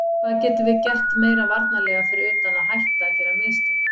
Hvað getum við gert meira varnarlega fyrir utan að hætta að gera mistök?